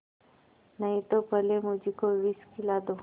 नहीं तो पहले मुझी को विष खिला दो